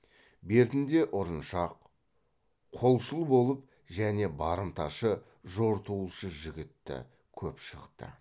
бертінде ұрыншақ қолшыл болып және барымташы жортуылшы жігітті көп шықты